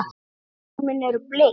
Blómin eru bleik.